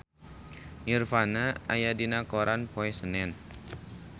Nirvana aya dina koran poe Senen